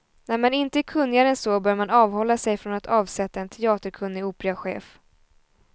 När man inte är kunnigare än så bör man avhålla sig från att avsätta en teaterkunnig operachef.